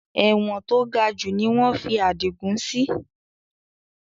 Ẹ̀wọ̀n to gajù ni wọn fi adigun sì